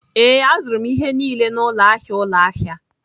Ee, azụrụ m ihe niile n'ụlọ ahịa ụlọ ahịa.